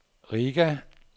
Riga